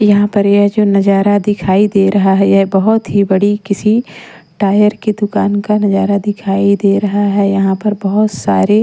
यहाँ पर यह जो नजारा दिखाई दे रहा है यह बहुत ही बड़ी किसी टायर की दुकान का नजारा दिखाई दे रहा है यहाँ पर बहुत सारे--